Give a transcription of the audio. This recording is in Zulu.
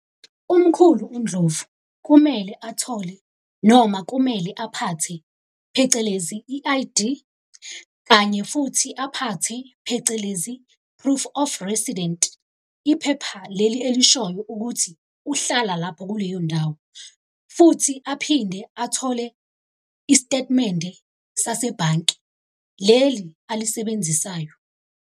Umkhulu uNdlovu, kumele athole noma kumele aphathe phecelezi i-I_D, kanye futhi aphathe phecelezi, proof of resident, iphepha leli elishoyo ukuthi uhlala lapho kuleyo ndawo. Futhi aphinde athole istetimende sasebhanki, leli alisebenzisayo.